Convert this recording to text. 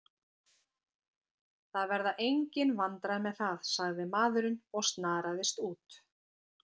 Það verða engin vandræði með það, sagði maðurinn og snaraðist út.